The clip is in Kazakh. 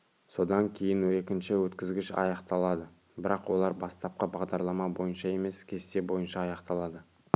содан кейін екінші өткізгіш аяқталады бірақ олар бастапқы бағдарлама бойынша емес кесте бойынша аяқталады